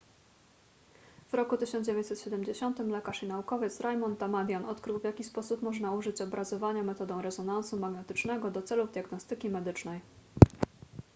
w roku 1970 lekarz i naukowiec raymond damadian odkrył w jaki sposób można użyć obrazowania metodą rezonansu magnetycznego do celów diagnostyki medycznej